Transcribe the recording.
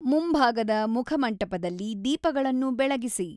ಮುಂಭಾಗದ ಮುಖಮಂಟಪದಲ್ಲಿ ದೀಪಗಳನ್ನು ಬೆಳಗಿಸಿ